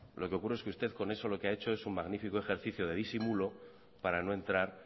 lo que ocurre es que usted con eso lo que ha hecho es un magnífico ejercicio de disimulo para no entrar